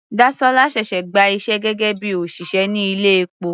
Dasola ṣẹ̀ṣẹ̀ gba iṣẹ́ gẹ́gẹ́ bíi òṣìṣẹ́ ní ilé epo.